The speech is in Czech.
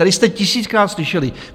Tady jste tisíckrát slyšeli.